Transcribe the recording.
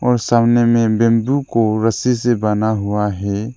और सामने में बैंबू को रस्सी से बांधा हुआ है।